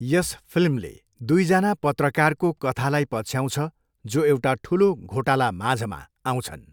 यस फिल्मले दुईजना पत्रकारको कथालाई पछ्याउँछ जो एउटा ठुलो घोटालामाझमा आउँछन्।